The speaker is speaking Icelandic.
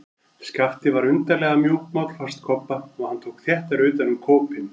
Skapti var undarlega mjúkmáll, fannst Kobba, og hann tók þéttar utan um kópinn.